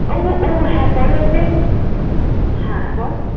ও ও হ্যাঁ পড়ে হচ্ছে, হ্যাঁ বল।